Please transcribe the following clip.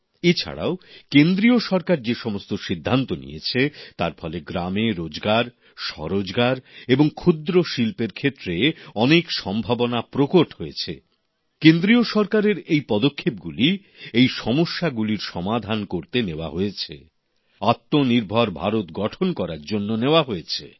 এ ছাড়াও কেন্দ্রীয় সরকার যে সমস্ত সিদ্ধান্ত নিয়েছে তার ফলে গ্রামে রোজগার স্বরোজগার এবং ক্ষুদ্র শিল্পের ক্ষেত্রে অনেক উজ্জ্বল সম্ভাবনা দেখা দিয়েছে౼ কেন্দ্রীয় সরকারের এই পদক্ষেপগুলি এই সমস্যাগুলির সমাধান করতে নেওয়া হয়েছে আত্মনির্ভর ভারত গঠন করার জন্য নেওয়া হয়েছে